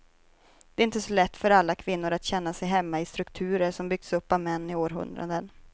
Det är inte så lätt för alla kvinnor att känna sig hemma i strukturer som byggts upp av män i århundraden.